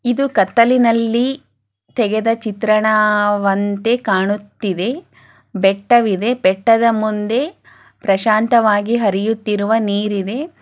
ಇದು ಕತ್ತಲಿನಲ್ಲಿ ತೆಗೆದ ಚಿತ್ರಣವಂತೆ ಕಾಣುತ್ತಿದೆ ಬೆಟ್ಟವಿದೆ ಬೆಟ್ಟದ ಮುಂದೆ ಪ್ರಶಾಂತವಾದ ಹರಿಯುತ್ತಿರುವ ನೀರಿದೆ.